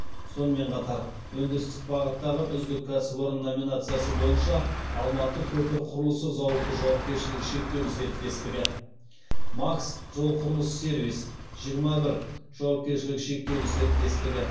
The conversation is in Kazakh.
сонымен қатар өндірістік бағыттағы үздік кәсіпорын номинациясы бойынша алматы көпір құрылысы зауыты жауапкершілігі шектеулі серіктестігі макс жолқұрылыссервис жиырма бір жауапкершілігі шектеулі серіктестігі